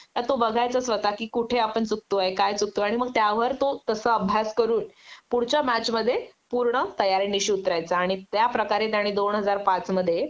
तर तो बघायचा स्वतः कि कुठे आपण चुकतोय काय चुकतोय आणि मग त्यावर तो तसा अभ्यास करून पुढच्या मॅचमध्ये पूर्ण तयारीनिशी उतरायचा आणि त्याप्रकारे त्याने दोन हजार पाचमध्ये